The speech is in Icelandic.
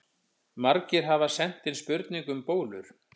Margir hafa sent inn spurningu um bólur.